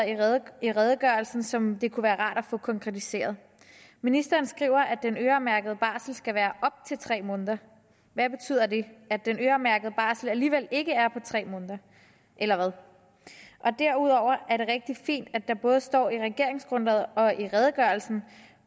i redegørelsen som det kunne være rart at få konkretiseret ministeren skriver at den øremærkede barsel skal være op til tre måneder hvad betyder det at den øremærkede barsel alligevel ikke er på tre måneder eller hvad derudover er det rigtig fint at det både står i regeringsgrundlaget og i redegørelsen